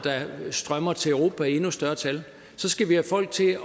der strømmer til europa i endnu større tal skal vi have folk til at